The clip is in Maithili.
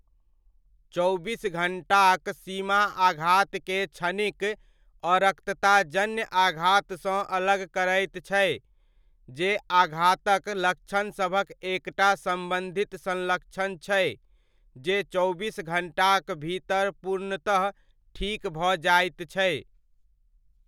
चौबीस घण्टाक सीमा आघातके क्षणिक अरक्तताजन्य आघातसँ अलग करैत छै, जे आघातक लक्षणसभक एकटा सम्बन्धित संलक्षण छै जे चौबीस घण्टाक भीतर पूर्णतः ठीक भऽ जाइत छै।